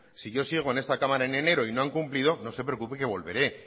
si yo sigo en esta cámara en enero y no han cumplido no se preocupe que volveré